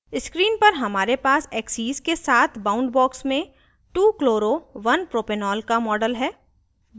screen पर हमारे पास axes के साथ boundbox में 2chloro1propanol का model है